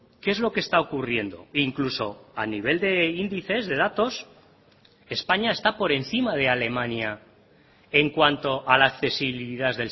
qué es lo que está ocurriendo incluso a nivel de índices de datos españa está por encima de alemania en cuanto a la accesibilidad